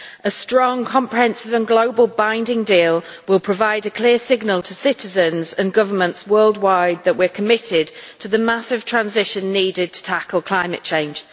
A strong, comprehensive and globally binding deal will provide a clear signal to citizens and governments worldwide that we are committed to the massive transition needed to tackle climate change.